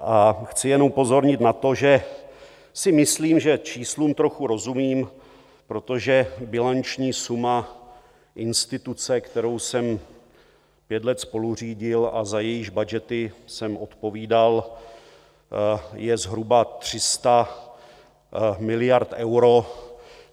A chci jenom upozornit na to, že si myslím, že číslům trochu rozumím, protože bilanční suma instituce, kterou jsem pět let spoluřídil a za jejíž budgety jsem odpovídal, je zhruba 300 miliard eur.